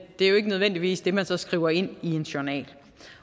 det er jo ikke nødvendigvis det man så skriver ind i en journal